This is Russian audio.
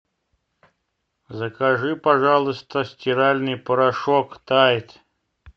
закажи пожалуйста стиральный порошок тайд